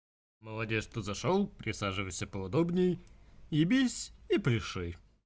молодец что зашёл присаживайся поудобнее ебись и пляши